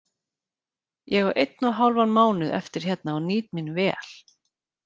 Ég á einn og hálfan mánuð eftir hérna og nýt mín vel.